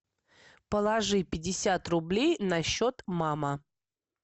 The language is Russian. положи пятьдесят рублей на счет мама